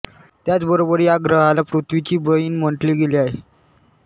त्याचबरोबर या ग्रहाला पृथ्वीची बहीण म्हंटले गेले आहे